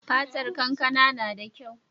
Fatar kankana nada kyau